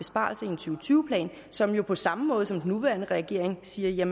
tyve plan som jo på samme måde som den nuværende regering siger